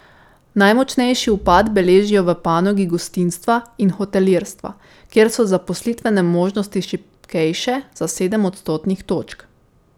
Najmočnejši upad beležijo v panogi gostinstva in hotelirstva, kjer so zaposlitvene možnosti šibkejše za sedem odstotnih točk.